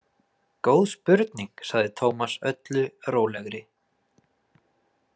Góð spurning, sagði Tómas öllu rólegri.